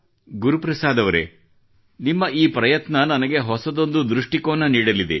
ಗುರುಪ್ರಸಾದ್ ಅವರೇ ನಿಮ್ಮ ಈ ಪ್ರಯತ್ನ ನನಗೆ ಹೊಸದೊಂದು ದೃಷ್ಟಿಕೋನ ನೀಡಲಿದೆ